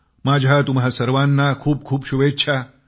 माझ्या तुम्हा सर्वाना खूप खूप शुभेच्छा